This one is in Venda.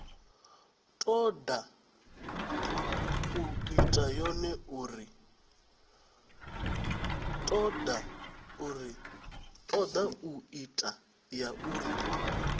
toda u ita yone uri